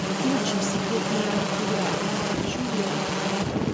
включи секретные материалы хочу верить